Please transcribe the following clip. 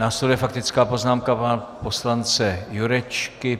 Následuje faktická poznámka pana poslance Jurečky.